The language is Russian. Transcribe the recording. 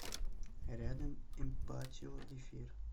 рядом эмпатио эфир